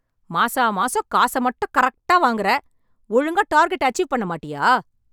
மாசா மாசம் காச மட்டும் கரெக்டா வாங்கற ! ஒழுங்கா டார்கெட் அச்சிவ் பண்ண மாட்டியா ?